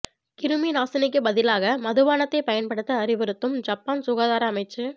கிருமி நாசினிக்குப் பதிலாக மதுபானத்தைப் பயன்படுத்த அறிவுறுத்தும் ஜப்பான் சுகாதார அமைச்சு